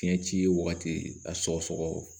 Fiɲɛ ci ye wagati a sɔgɔ sɔgɔ